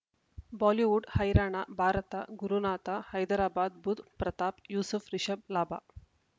Bollywood ಹೈರಾಣ ಭಾರತ ಗುರುನಾಥ ಹೈದರಾಬಾದ್ ಬುಧ್ ಪ್ರತಾಪ್ ಯೂಸುಫ್ ರಿಷಬ್ ಲಾಭ